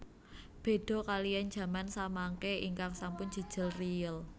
Beda kaliyan jaman samangke ingkang sampun jejel riyel